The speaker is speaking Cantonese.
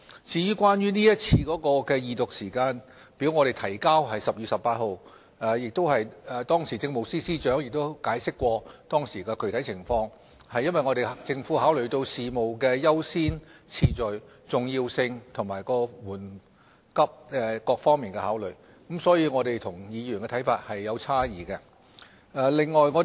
至於今次的二讀時間表，我們於10月18日提交《條例草案》，政務司司長亦有解釋當時的具體情況，指出政府是考慮到事務的優先次序、重要性和緩急各方面才這樣做，可見我們跟議員的看法有差異。